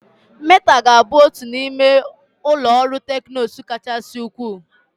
Meta ga-abụ otu n'ime ụlọ ọrụ teknụzụ kachasị ukwuu.